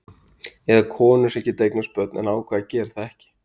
Eða konur sem geta eignast börn en ákveða að gera það ekki.